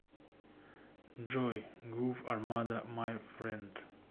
джой грув армада май фрэнд